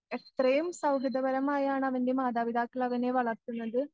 എത്രയും സൗഹൃദപരമായാണ് അവൻ്റെ മാതാപിതാക്കളവനെ വളർത്തുന്നത്